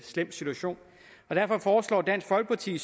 slem situation derfor foreslår dansk folkeparti